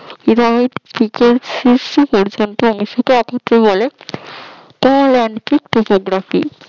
রথ থেকে শীর্ষ পর্যন্ত প্রসারিত হলে